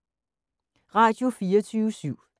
Radio24syv